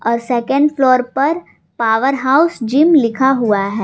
और second floor पर power house gym लिखा हुआ है।